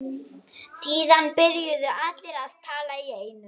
Síðan byrjuðu allir að tala í einu.